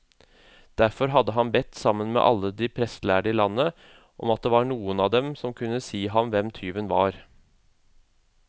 Derfor hadde han bedt sammen alle de prestlærde i landet, om det var noen av dem som kunne si ham hvem tyven var.